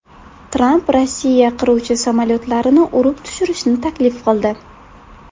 Tramp Rossiya qiruvchi samolyotlarini urib tushirishni taklif qildi .